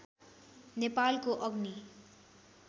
नेपालको अग्नि